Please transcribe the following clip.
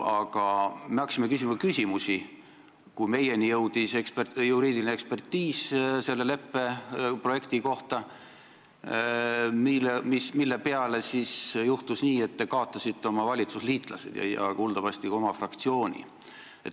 Aga meie hakkasime küsima küsimusi, kui meie kätte oli jõudnud juriidiline ekspertiis selle leppe projekti kohta, mille peale juhtus nii, et te kaotasite oma valitsusliitlased ja kuuldavasti ka oma fraktsiooni.